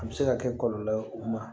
A bɛ se ka kɛ kɔlɔlɔ ye u ma